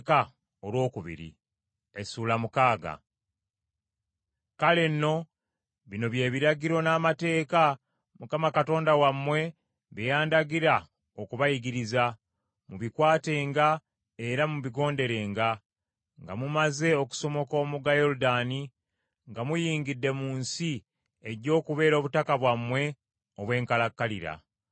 “Kale nno, bino bye biragiro, n’amateeka, Mukama Katonda wammwe bye yandagira okubayigiriza, mubikwatenga era mubigonderenga, nga mumaze okusomoka omugga Yoludaani nga muyingidde mu nsi ejja okubeera obutaka bwammwe obw’enkalakkalira.